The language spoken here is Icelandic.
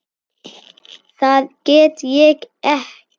Það get ég ekki.